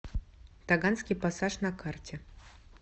таганский пассаж на карте